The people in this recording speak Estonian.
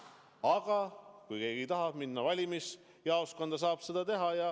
Aga kui keegi tahab minna valimisjaoskonda, siis saab ta seda teha.